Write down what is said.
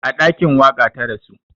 A ɗakin waƙa ta rasu